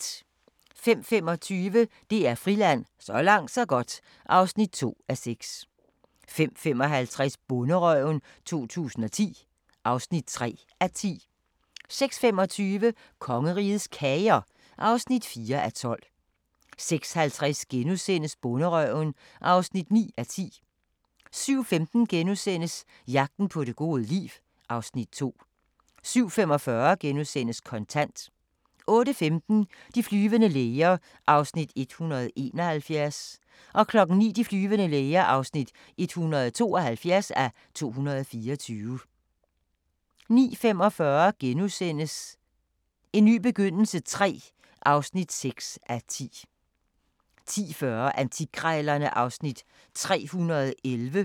05:25: DR Friland: Så langt så godt (2:6) 05:55: Bonderøven 2010 (3:10) 06:25: Kongerigets Kager (4:12) 06:50: Bonderøven (9:10)* 07:15: Jagten på det gode liv (Afs. 2)* 07:45: Kontant * 08:15: De flyvende læger (171:224) 09:00: De flyvende læger (172:224) 09:45: En ny begyndelse III (6:10)* 10:40: Antikkrejlerne (Afs. 311)